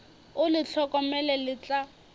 o le hlokomele le tla